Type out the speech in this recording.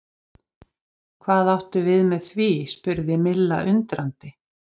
Hvað áttu við með því? spurði Milla undrandi?